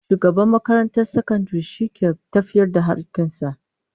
Shugaban makarantar sakandare shi ke tafiyar da harkokin ta